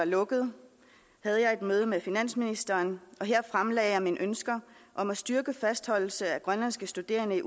lukket havde jeg et møde med finansministeren og her fremlagde jeg mine ønsker om at styrke fastholdelse af grønlandske studerende